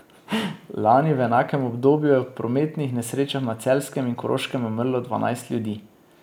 Lani v enakem obdobju je v prometnih nesrečah na Celjskem in Koroškem umrlo dvanajst ljudi.